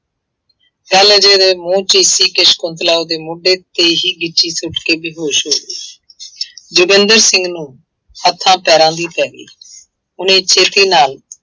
ਗੱਲ ਹਜੇ ਮੂੰਹ ਚ ਹੀ ਸੀ ਕਿ ਸਕੁੰਤਲਾ ਉਹਦੇ ਮੋਢੇ ਤੇ ਹੀ ਉੱਠ ਕੇ ਬੇਹੋਸ਼ ਹੋ ਗਈ ਜੋਗਿੰਦਰ ਸਿੰਘ ਨੂੰ ਹੱਥਾਂ ਪੈਰਾਂ ਦੀ ਪੈ ਗਈ ਉਹਨੇ ਛੇਤੀ ਨਾਲ